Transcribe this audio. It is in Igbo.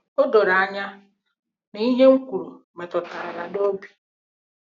O doro anya na ihe m kwuru metụtara ya n’obi.